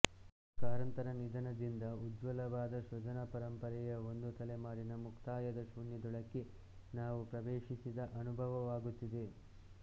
ಕಾರಂತರ ನಿಧನದಿಂದ ಉಜ್ವಲವಾದ ಸೃಜನ ಪರಂಪರೆಯ ಒಂದು ತಲೆಮಾರಿನ ಮುಕ್ತಾಯದ ಶೂನ್ಯದೊಳಕ್ಕೆ ನಾವು ಪ್ರವೇಶಿಸಿದ ಅನುಭವವಾಗುತ್ತಿದೆ